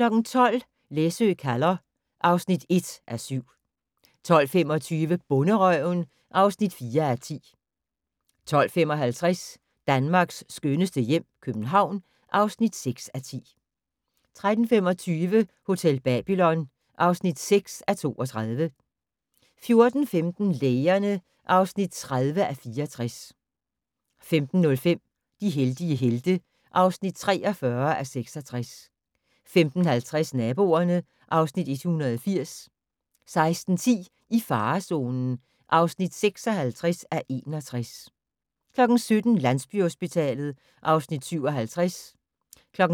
12:00: Læsø kalder (1:7) 12:25: Bonderøven (4:10) 12:55: Danmarks skønneste hjem - København (6:10) 13:25: Hotel Babylon (6:32) 14:15: Lægerne (30:64) 15:05: De heldige helte (43:66) 15:50: Naboerne (Afs. 180) 16:10: I farezonen (56:61) 17:00: Landsbyhospitalet (Afs. 57)